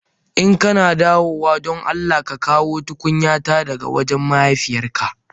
In kana dawowa don Allah ka Kawo tukunyata daga wajen mahaifiyar ka.